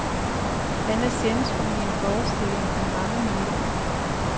Han er centrum i en forestilling til mange millioner.